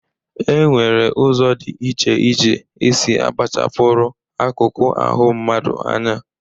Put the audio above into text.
E nwere ụzọ dị iche iche e si akpachapụrụ akụkụ ahụ mmadụ anya.